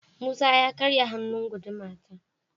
Musa ya karya hannun guduma na.